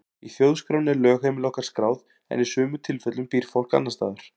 Í þjóðskránni er lögheimili okkar skráð en í sumum tilfellum býr fólk annars staðar.